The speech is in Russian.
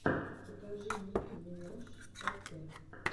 покажи ники минаж эт